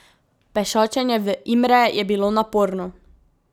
Pešačenje v Imre je bilo naporno.